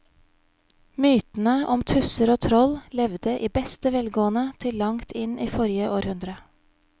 Mytene om tusser og troll levde i beste velgående til langt inn i forrige århundre.